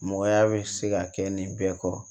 Mɔgɔya bɛ se ka kɛ nin bɛɛ kɔrɔ